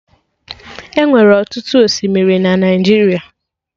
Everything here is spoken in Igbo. Enwere ọtụtụ osimiri na Naijiria